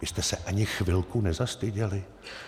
Vy jste se ani chvilku nezastyděli?